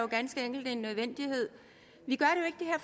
ganske enkelt er en nødvendighed